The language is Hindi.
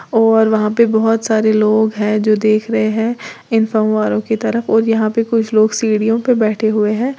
और वहां पे बोहोत सारे लोग हैं जो देख रहे हैं इन फव्वारों की तरफ और यहां पे कुछ लोग सीढ़ियों पे बैठे हुए हैं।